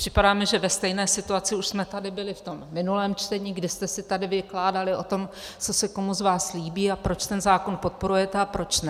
Připadá mi, že ve stejné situaci už jsme tady byli v tom minulém čtení, kdy jste si tady vykládali o tom, co se komu z vás líbí a proč ten zákon podporujete a proč ne.